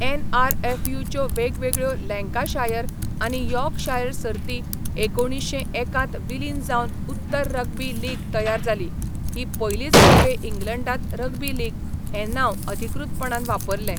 एनआरएफयूच्यो वेगवेगळ्यो लँकाशायर आनी यॉर्कशायर सर्ती एकुणीश्शें एक त विलीन जावन उत्तर रग्बी लीग तयार जाली, ही पयलीच खेपे इंग्लंडांत रग्बी लीग हें नांव अधिकृतपणान वापरलें.